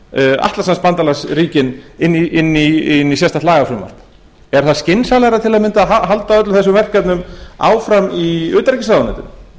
við atlantshafsbandalagsríkin inn í sérstakt lagafrumvarp er það skynsamlegra til að mynda að halda öllum þessum verkefnum áfram í utanríkisráðuneytinu auðvitað er það